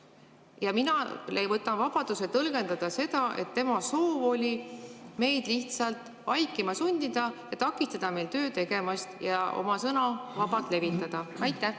" Ja mina võtan vabaduse tõlgendada seda nii, et tema soov oli meid lihtsalt vaikima sundida, takistada meid tööd tegemast ja oma sõna vabalt levitamast.